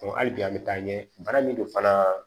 hali bi an bɛ taa ɲɛ bana min don fana